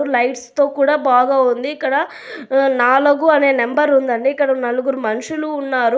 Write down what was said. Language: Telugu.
లైట్స్తో కూడా బాగా ఉంది. ఇక్కడ ఉమ్ నాలుగు అనే నెంబర్ ఉందండి. ఇక్కడ నలుగురు మనుషులు ఉన్నారు.